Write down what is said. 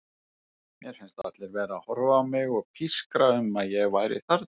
Mér fannst allir vera að horfa á mig og pískra um að ég væri þarna.